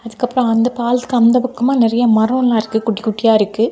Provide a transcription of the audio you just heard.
அதுக்கு அப்புறமா அந்தப் பாலத்துக்கு அப்புறமா நிறைய மரங்கள் எல்லாம் இருக்குது குட்டி குட்டியா இருக்கு.